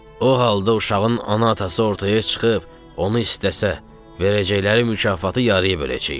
O halda uşağın ana-atası ortaya çıxıb onu istəsə, verəcəkləri mükafatı yarıya böləcəyik.